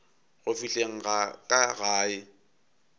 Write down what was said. go fihleng ga ka gae